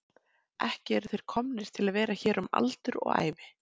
Ekki eru þeir komnir til að vera hér um aldur og ævi.